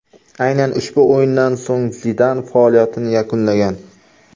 Aynan ushbu o‘yindan so‘ng Zidan faoliyatini yakunlagan.